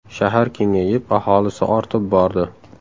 Shahar kengayib, aholisi ortib bordi.